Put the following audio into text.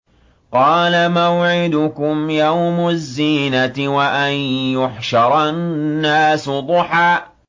قَالَ مَوْعِدُكُمْ يَوْمُ الزِّينَةِ وَأَن يُحْشَرَ النَّاسُ ضُحًى